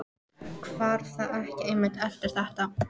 Hvarf það ekki einmitt eftir þetta?